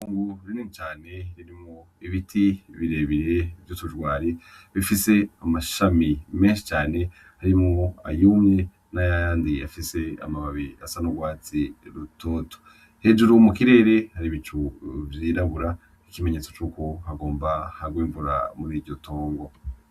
Itongo rinini cane ririmwo ibiti birebire vy'utujwari ,bifis'amashami menshi cane arimwo ayumye nayandi afis amababi asa n'urwatsi rutoto, hejuru mukirere har'ibicu vyirabura nk'ikimenyetso c'uko hagomba hagw'imvura mur'iryotongo.